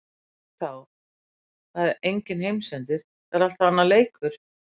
En ef ekki þá er það enginn heimsendir, það er alltaf annar leikur.